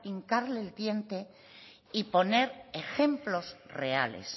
hincarle el diente y poner ejemplos reales